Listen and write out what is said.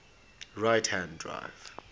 right hand drive